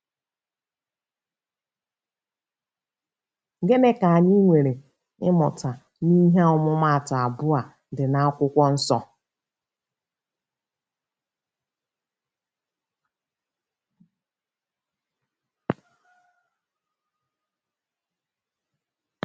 Gịnị ka anyị nwere ike ịmụta n’ihe ọmụmaatụ abụọ a dị na Akwụkwọ Nsọ?